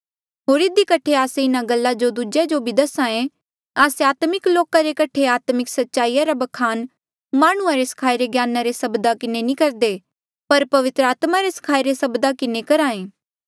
होर इधी कठे आस्से इन्हा गल्ला जो दूजेया जो भी दसाहें आस्से आत्मिक लोका रे कठे आत्मिक सच्चाईया रा बखान माह्णुंआं रे स्खाईरे ज्ञाना रे सब्दा किन्हें नी करदे पर पवित्र आत्मा रे स्खाईरे सब्दा किन्हें करहा ऐ